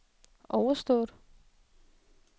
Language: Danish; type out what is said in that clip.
overstået